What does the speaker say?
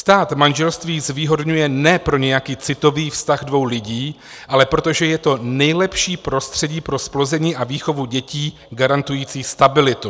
Stát manželství zvýhodňuje ne pro nějaký citový vztah dvou lidí, ale protože to je nejlepší prostředí pro zplození a výchovu dětí garantující stabilitu.